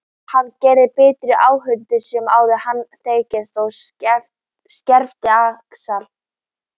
Hann gerði betri áhöld en áður höfðu þekkst og skefti axir.